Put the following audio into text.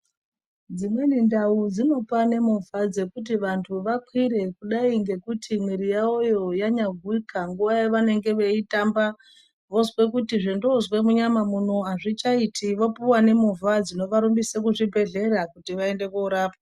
Dzimweni ndau dzinopane movha dzekuti vandu vakwire kudai ngekuti mwiri yavo yo yanya guwika nguva yavanenge veyitamba vozwe kuti zvondozwa munyama muno azvichaiti vopuhwa nemovha dzinova rumbisa kuzvibhehleya kuti vaende korapwa.